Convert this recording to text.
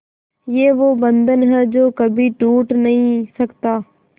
ये वो बंधन है जो कभी टूट नही सकता